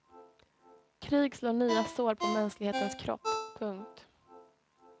Krig slår nya sår på mänsklighetens kropp. punkt